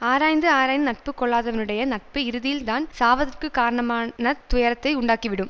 ஆராய்ந்து ஆராய்ந்து நட்பு கொள்ளாதவனுடைய நட்பு இறுதியில் தான் சாவதற்க்குக் காரணமானத் துயரத்தை உண்டாக்கிவிடும்